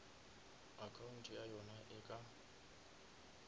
account ya yona e ka